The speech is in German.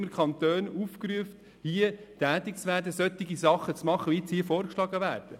Immer werden die Kantone aufgefordert, tätig zu werden und solche Sachen zu machen, die hier vorgeschlagen werden.